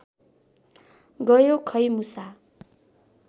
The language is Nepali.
गयो खै मुसा